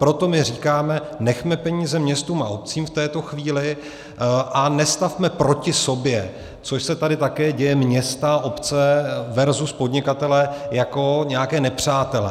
Proto my říkáme: nechme peníze městům a obcím v této chvíli a nestavme proti sobě - což se tady také děje - města, obce versus podnikatelé jako nějaké nepřátele.